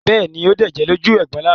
Bẹ́ẹ̀ ni, ó dẹ̀jẹ̀ lójú egbò lánàá.